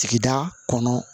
Sigida kɔnɔ